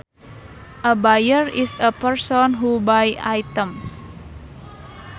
A buyer is a person who buys items